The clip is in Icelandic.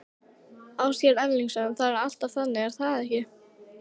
Ásgeir Erlendsson: Það er alltaf þannig er það ekki?